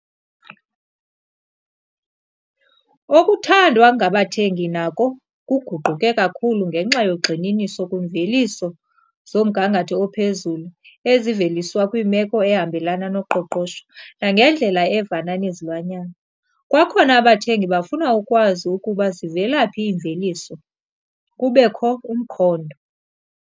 Okuthandwa ngabathengi nako kuguquke kakhulu ngenxa yogxininiso kwiimveliso zomgangatho ophezulu eziveliswa kwimeko ehambelana noqoqosho nangendlela evana nezilwanyana. Kwakhona abathengi bafuna ukwazi ukuba zivela phi iimveliso - kubekho umkhondo.